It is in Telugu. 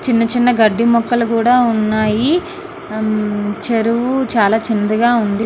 చిన్న చిన్న గడ్డి మొక్కలు కూడా ఉన్నాయి అమ్మ్ చెరువు చాలా చిన్నదిగా ఉంది.